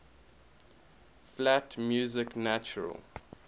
flat music natural